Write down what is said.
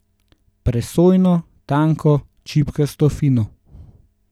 Presojno, tanko, čipkasto fino.